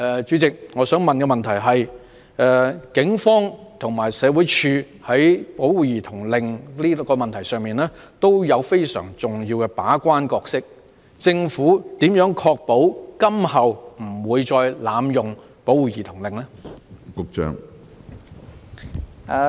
主席，我想問政府，警方與社會福利署在引用保護兒童令的問題上均有非常重要的把關角色，當局如何確保今後不會再濫用保護兒童令？